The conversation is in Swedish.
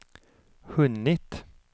hunnit